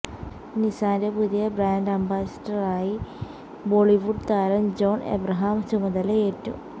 നിസാന്റെ പുതിയ ബ്രാൻഡ് അംബാസിഡറായി ബോളിവുഡ് താരം ജോണ് എബ്രഹാം ചുമതലയേറ്റു